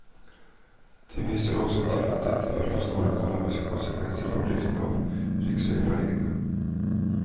Det vises også til at dette vil få store økonomiske konsekvenser for driften av riksveifergene.